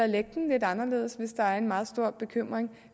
lægge den lidt anderledes hvis der er en meget stor bekymring